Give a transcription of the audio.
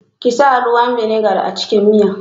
Kisa ruwan vinegar a cikin miyan.